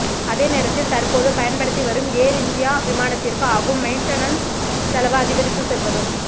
அதே நேரத்தில் தற்போது பயண்படுத்தி வரும் ஏர் இந்தியா விமானத்திற்கு ஆகும் மெயின்டனன்ஸ் செலவு அதிகரித்து செல்வதும்